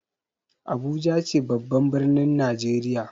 Abuja ce babban ɓirnin najeriya.